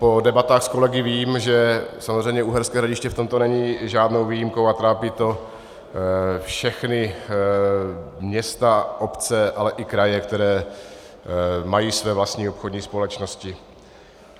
Po debatách s kolegy vím, že samozřejmě Uherské Hradiště v tomto není žádnou výjimkou a trápí to všechna města, obce, ale i kraje, které mají své vlastní obchodní společnosti.